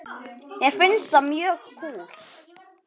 Mér finnst það mjög kúl.